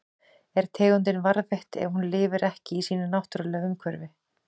Er tegundin varðveitt ef hún lifir ekki í sínu náttúrulega umhverfi?